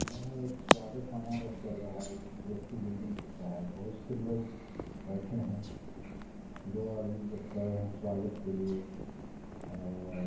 यहाँ एक स्वागत समारोह चल रहा है अच्छी बिल्डिंग भी दिख रहा है बहोत से लोग बैठे है दो आदमी जो खड़े है स्वागत के लिए और--